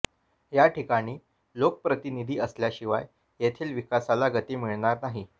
या ठिकाणी लोकप्रतिनिधी असल्याशिवाय येथील विकासाला गती मिळणार नाही